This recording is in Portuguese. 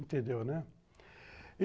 Entendeu, né.